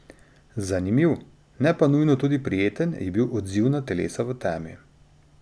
Zanimiv, ne pa nujno tudi prijeten, je bil odziv na Telesa v temi.